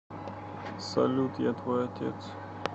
салют я твой отец